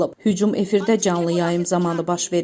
Hücum efirdə canlı yayım zamanı baş verib.